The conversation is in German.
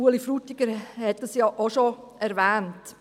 Ueli Frutiger hat dies ja auch schon erwähnt.